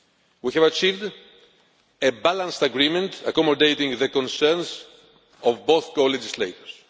We have achieved a balanced agreement accommodating the concerns of both co legislators.